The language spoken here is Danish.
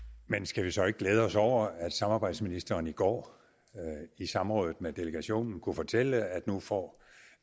men skal vi så ikke glæde os over at samarbejdsministeren i går i samrådet med delegationen kunne fortælle at nu får